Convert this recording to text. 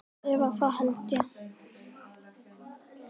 Eða það hélt ég!